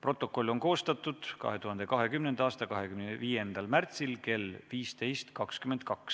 Protokoll on koostatud 2020. aasta 25. märtsil kell 15.22.